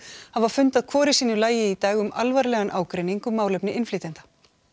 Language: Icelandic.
hafa fundað hvor í sínu lagi í dag um alvarlegan ágreining um málefni innflytjenda